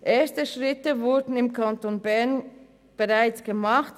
Erste Schritte wurden im Kanton Bern bereits gemacht: